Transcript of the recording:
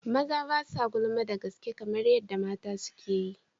Maza ba sa gulma da gaske kamar yadda mata suke yi.